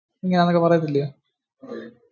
ഇങ്ങനെ ആണെന്നൊക്കെ പറയത്തില്ലേ?